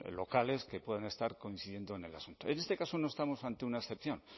locales que puedan estar coincidiendo en el asunto en este caso no estamos ante una excepción